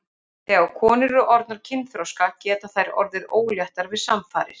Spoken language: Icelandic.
Þegar konur eru orðnar kynþroska geta þær orðið óléttar við samfarir.